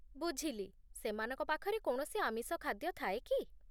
ବୁଝିଲି, ସେମାନଙ୍କ ପାଖରେ କୌଣସି ଆମିଷ ଖାଦ୍ୟ ଥାଏ କି?